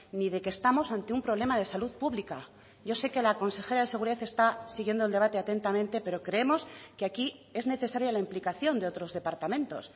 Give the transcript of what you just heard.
ni de que estamos ante un problema de salud pública yo sé que la consejera de seguridad está siguiendo el debate atentamente pero creemos que aquí es necesaria la implicación de otros departamentos